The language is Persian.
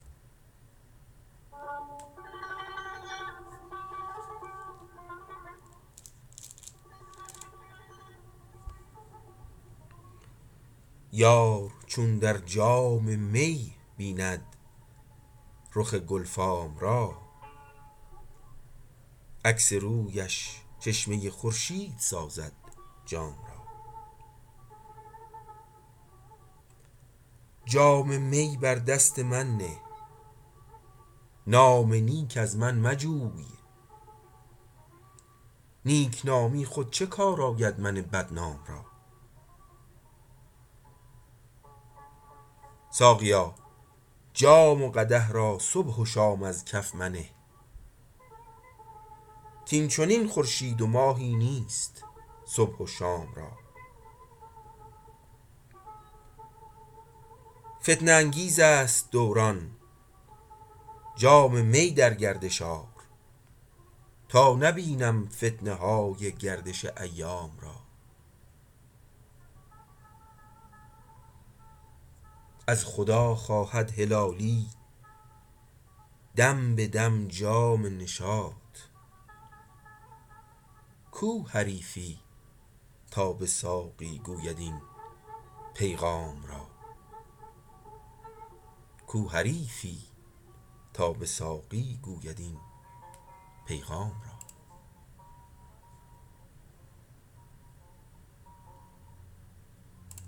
یار چون در جام می بیند رخ گل فام را عکس رویش چشمه خورشید سازد جام را جام می بر دست من نه نام نیک از من مجوی نیک نامی خود چه کار آید من بدنام را ساقیا جام و قدح را صبح و شام از کف منه کاین چنین خورشید و ماهی نیست صبح و شام را فتنه انگیز است دوران جام می در گردش آر تا نبینم فتنه های گردش ایام را از خدا خواهد هلالی دم به دم جام نشاط کو حریفی تا به ساقی گوید این پیغام را